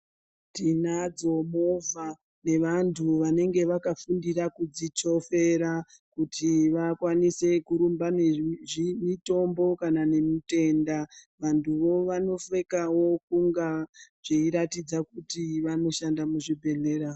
Tinadzo movha nevantu vanenge vakafundira kudzichofera kuti vakwanise kurumba nemitombo kana nemutenda. Vantuvo vanopfekawo kunga zveiratidza kuti vanoshanda muzvibhehlera.